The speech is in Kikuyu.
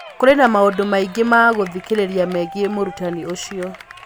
Kũrĩ na maũndũ maingĩ ma gũthikĩrĩria megiĩ mũrutani ũcio.